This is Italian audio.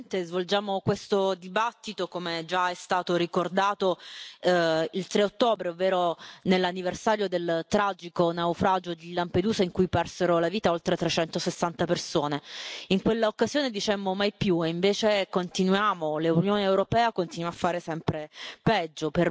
Signor Presidente, onorevoli colleghi, svolgiamo questo dibattito, come già è stato ricordato, il 3 ottobre ovvero nell'anniversario del tragico naufragio di Lampedusa, in cui persero la vita oltre 360 persone. In quell'occasione dicemmo mai più, e invece continuiamo, l'Unione europea continua a fare sempre peggio.